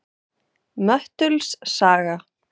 Möttuls saga